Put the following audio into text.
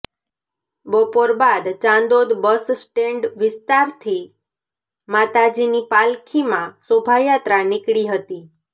બપોર બાદ Chandod bus stand વિસ્તારથી માતાજીની પાલખીમાં શોભાયાત્રા નીકળી હતી